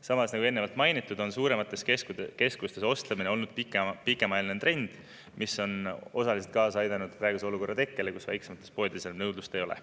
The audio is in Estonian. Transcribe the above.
Samas, nagu eelnevalt mainitud, on suuremates keskustes ostlemine olnud pikemaajaline trend, mis on osaliselt kaasa aidanud praeguse olukorra tekkele, kus väiksemates poodides nõudlust ei ole.